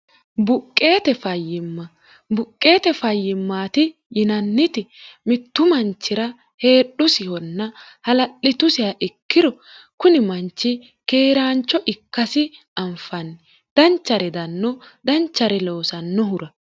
buqqeete fayyimmaati yinanniti mittu manchira heedhusihonna hala'litusiha ikkiro kuni manchi keeraancho ikkasi anfanni danchare danno danchare loosannohura